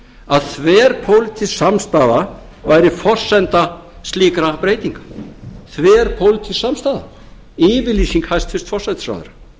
að þverpólitísk samstaða væri forsenda slíkra breytinga þverpólitísk samstaða yfirlýsing hæstvirtur forsætisráðherra